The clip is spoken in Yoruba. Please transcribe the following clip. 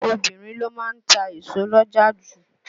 Obinrin ló má ń ta èso l'ọ́jà ju.